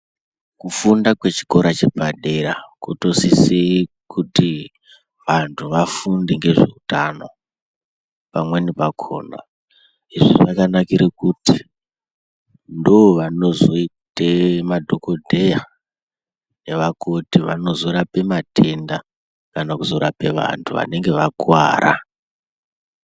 Kufunda kwechikora chepadera kutosisi kuti vantu vafunde ngezveutano pamweni pakhona izvi zvakanakire kuti ndovanozoite madhokodheya nevakoti vanozorape matenda kana kuzorape vantu vanenge vakuwara.